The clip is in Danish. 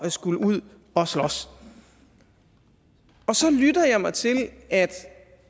skulle ud og slås så lytter jeg mig til at